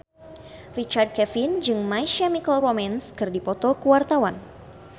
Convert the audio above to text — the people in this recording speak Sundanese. Richard Kevin jeung My Chemical Romance keur dipoto ku wartawan